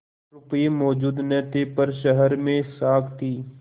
रुपये मौजूद न थे पर शहर में साख थी